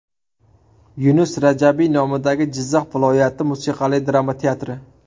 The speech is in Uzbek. Yunus Rajabiy nomidagi Jizzax viloyati musiqali drama teatri.